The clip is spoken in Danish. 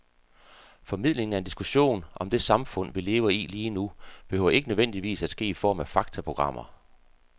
Formidlingen af en diskussion om det samfund, vi lever i lige nu, behøver ikke nødvendigvis at ske i form af faktaprogrammer.